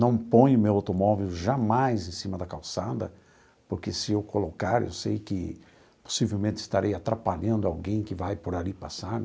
Não ponho meu automóvel jamais em cima da calçada, porque se eu colocar, eu sei que possivelmente estarei atrapalhando alguém que vai por ali passar.